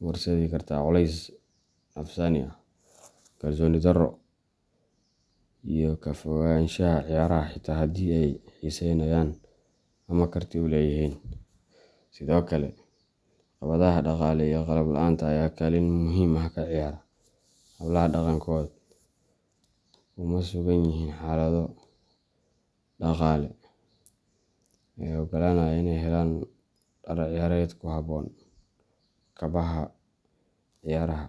u horseedi kartaa culeys nafsaani ah, kalsooni darro, iyo ka fogaanshaha ciyaaraha xitaa haddii ay xiiseeyaan ama karti u leeyihiin. Sidoo kale, caqabadaha dhaqaale iyo qalab la’aanta ayaa kaalin muhiim ah ka ciyaara. Hablaha badankood kuma sugan yihiin xaalado dhaqaale oo oggolaanaya inay helaan dhar ciyaareed ku habboon, kabaha ciyaaraha.